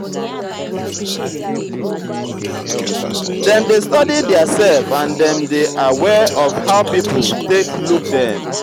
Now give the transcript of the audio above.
dem dey study theirself and dem dey aware of how pipo take look dem